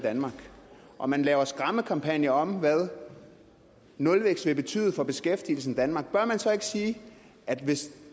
danmark og man laver skræmmekampagner om hvad nulvækst vil betyde for beskæftigelsen i danmark sige at hvis